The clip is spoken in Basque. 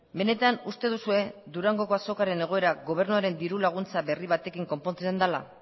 benetan uste duzue durangoko azokaren egoera gobernuaren dirulaguntza berri batekin konpontzen dela